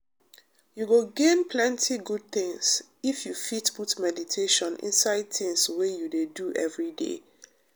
you go gain plenty good thing if you fit put meditation inside things wey you dey do every day